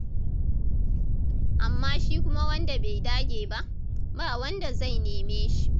Amma shi kuma wanda bai dage ba, ba wanda zai neme shi.